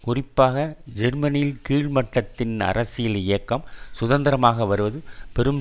குறிப்பாக ஜெர்மனியில் கீழ்மட்டத்தில் அரசியல் இயக்கம் சுதந்திரமாக வருவது பெரும்